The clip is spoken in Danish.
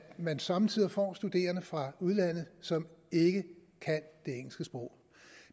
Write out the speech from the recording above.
man somme tider får studerende fra udlandet som ikke kan det engelske sprog